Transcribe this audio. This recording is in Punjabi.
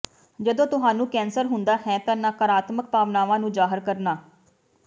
ਜਦੋਂ ਤੁਹਾਨੂੰ ਕੈਂਸਰ ਹੁੰਦਾ ਹੈ ਤਾਂ ਨਕਾਰਾਤਮਕ ਭਾਵਨਾਵਾਂ ਨੂੰ ਜ਼ਾਹਰ ਕਰਨਾ